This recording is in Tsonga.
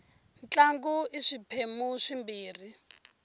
ntlangu i swiphemu swimbirhi